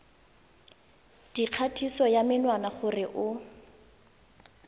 dikgatiso ya menwana gore o